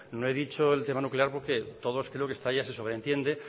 no he dicho el tema nuclear porque todos creo que hasta ahí ya se sobreentiende